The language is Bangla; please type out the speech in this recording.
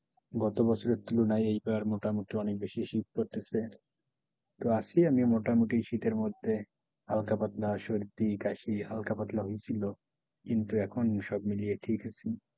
গত বছরের তুলনায় এই বার মোটামুটি অনেক বেশি শীত পড়তেছে তো আছি আমি মোটামুটি শীতের মধ্যে হালকা পাতলা সর্দি কাশি হালকা পাতলা হইছিল কিন্তু এখন সব মিলিয়ে ঠিক আছি,